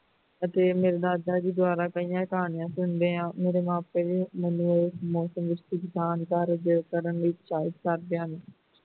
ਫੇਰ ਮੇਰੇ ਦਾਦਾ ਜੀ ਦੁਆਰਾ ਕਈਆਂ ਕਹਾਣੀਆਂ ਸੁਣਦੇ ਹਾਂ ਮੇਰੇ ਮਾਪੇ ਮੈਨੂੰ ਉਸ ਮੌਸਮ ਦੇ ਵਿੱਚ ਕੁਝ ਕਰਨ ਵਿੱਚ ਸਹਿਯੋਗ ਕਰਦੇ ਹਨ